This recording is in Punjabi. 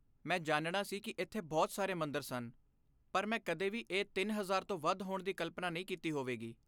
ਮੈਂ ਜਾਣਨਾ ਸੀ ਕੀ ਇੱਥੇ ਬਹੁਤ ਸਾਰੇ ਮੰਦਰ ਸਨ ਪਰ ਮੈਂ ਕਦੇ ਵੀ ਇਹ ਤਿੰਨ ਹਜ਼ਾਰ ਤੋਂ ਵੱਧ ਹੋਣ ਦੀ ਕਲਪਨਾ ਨਹੀਂ ਕੀਤੀ ਹੋਵੇਗੀ